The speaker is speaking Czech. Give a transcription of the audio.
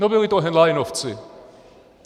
No byli to henleinovci.